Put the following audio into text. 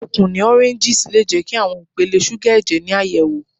Okun ni awọn oranges le jẹ ki awọn ipele suga ẹjẹ ni ayẹwo